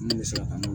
Min bɛ se ka